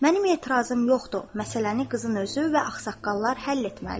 Mənim etirazım yoxdur, məsələni qızın özü və ağsaqqallar həll etməlidir.